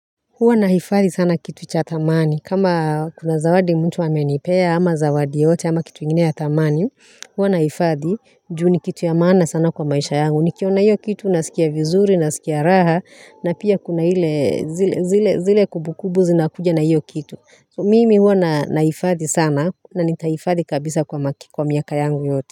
Huwa nahifadhi sana kitu cha thamani. Kama kuna zawadi mtu amenipea ama zawadi yoyote ama kitu ingine ya thamani, huwa nahifadhi juu ni kitu ya maana sana kwa maisha yangu. Nikiona hiyo kitu nasikia vizuri, nasikia raha, na pia kuna ile zile kubukubu zinakuja na hiyo kitu. Mimi huwa nahifadhi sana na nitahifadhi kabisa kwa maki kwa miaka yangu yote.